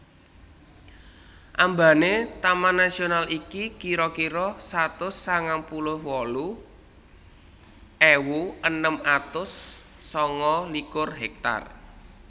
Ambane taman nasional iki kira kira satus sangang puluh wolu ewu enem atus sanga likur hektar